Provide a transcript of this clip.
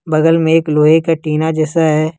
बगल में एक लोहे का टीना जैसा है।